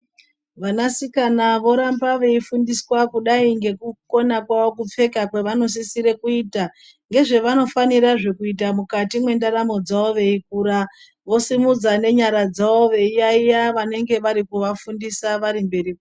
Vanasikana voramba veifundiswa kudai ngekukona kwavo kupfeka kwavanosisire kuita ngezvevanofanirazve kuita mwukati mwendaramwo dzavo veikura vosimudza nenyara dzawo veiyaiya vanenge vari kuvafundisa vari mberi kwavo.